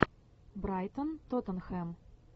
брайтон тоттенхэм